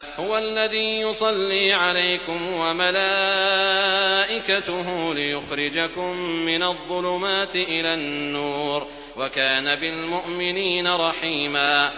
هُوَ الَّذِي يُصَلِّي عَلَيْكُمْ وَمَلَائِكَتُهُ لِيُخْرِجَكُم مِّنَ الظُّلُمَاتِ إِلَى النُّورِ ۚ وَكَانَ بِالْمُؤْمِنِينَ رَحِيمًا